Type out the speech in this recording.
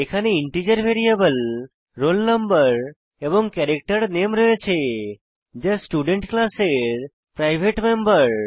এখানে integer variable roll no এবং character নামে রয়েছে যা স্টুডেন্ট ক্লাসের প্রাইভেট মেম্বর